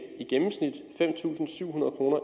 fem tusind syv